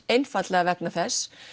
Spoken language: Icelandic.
einfaldlega vegna þess